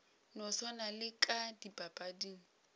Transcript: no swana le ka dipapading